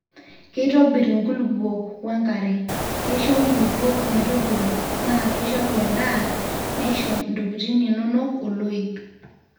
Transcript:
keitobir nkulupuok wo enkare, keisho nkulupuok metopiro na keishoru endaa neisho ntokitin inono oloip